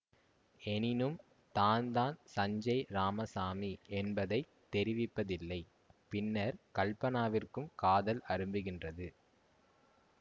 எனினும் தான்தான் சஞ்சேய் இராமசாமி என்பதை தெரிவிப்பதில்லை பின்னர் கல்பனாவிற்கும் காதல் அரும்புகின்றது